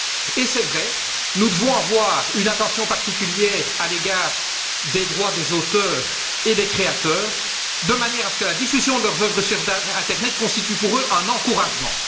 Et, c'est vrai, nous devons accorder une attention particulière aux droits des auteurs et des créateurs, de manière à ce que la diffusion de leurs œuvres sur l'internet constitue pour eux un encouragement.